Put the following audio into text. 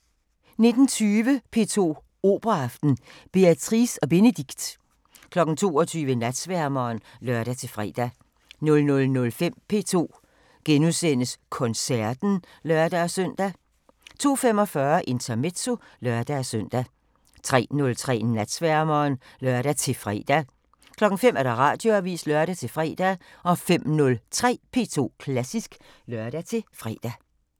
19:20: P2 Operaaften: Béatrice og Bénédict 22:00: Natsværmeren (lør-fre) 00:05: P2 Koncerten *(lør-søn) 02:45: Intermezzo (lør-søn) 03:03: Natsværmeren (lør-fre) 05:00: Radioavisen (lør-fre) 05:03: P2 Klassisk (lør-fre)